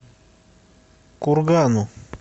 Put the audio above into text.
кургану